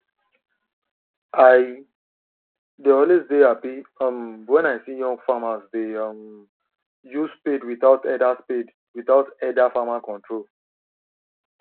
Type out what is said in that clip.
i dey always dey happy um wen i see young farmers dey um use spade without elder spade without elder farmer control